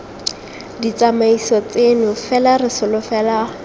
ditsamaiso tseno fela re solofela